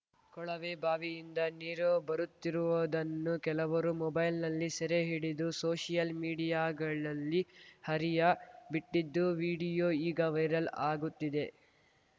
ಕೊಳವೆಬಾವಿಯಿಂದ ನೀರು ಬರುತ್ತಿರುವುದನ್ನು ಕೆಲವರು ಮೊಬೈಲ್‌ನಲ್ಲಿ ಸೆರೆ ಹಿಡಿದು ಸೋಶಿಯಲ್‌ ಮೀಡಿಯಾಗಳಲ್ಲಿ ಹರಿಯ ಬಿಟ್ಟಿದ್ದು ವೀಡಿಯೋ ಈಗ ವೈರಲ್‌ ಆಗುತ್ತಿದೆ